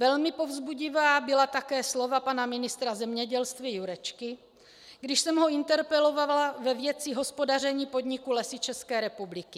Velmi povzbudivá byla také slova pana ministra zemědělství Jurečky, když jsem ho interpelovala ve věci hospodaření podniku Lesy České republiky.